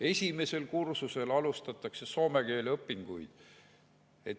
Esimesel kursusel alustavad soome keele õpinguid.